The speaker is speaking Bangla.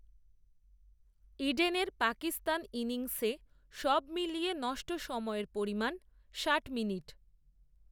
ইডেনের পাকিস্তান ইনিংসে, সবমিলিয়ে নষ্ট সময়ের পরিমাণ, ষাট মিনিট